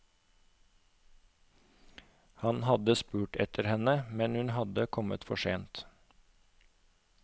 Han hadde spurt etter henne, men hun hadde kommet for sent.